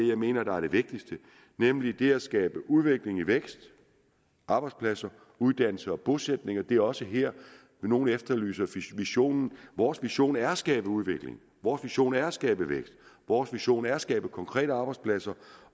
jeg mener der er det vigtigste nemlig det at skabe udvikling og vækst arbejdspladser uddannelse og bosætning og det er også her nogle efterlyser visionen vores vision er at skabe udvikling vores vision er at skabe vækst vores vision er at skabe konkrete arbejdspladser